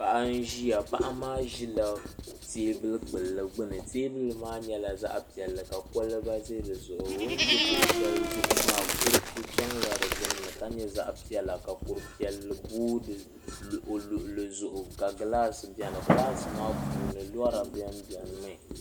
Paɣi n ʒiya paɣa maa ʒila teebulu kpulli gbuni teebulu maa nyɛla zaɣ' piɛli ka koliba O ʒɛ kuɣi shɛli zuɣu maa kuriti chanla di gbuni ka nyɛ zaɣ' piɛla ka kuri piɛli booi di luɣuli luɣuli zuɣu ka gilaasi bɛni gilaasi maa puuni lɔra bɛni bɛni